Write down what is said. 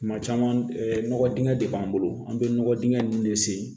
Tuma caman nɔgɔ dingɛ de b'an bolo an bɛ nɔgɔ dingɛ ninnu de sen